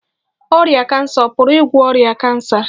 Ọrịa kansa ọ̀ pụrụ ịgwọ ọrịa kansa?